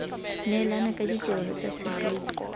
neelana ka ditirelo tsa tshegetso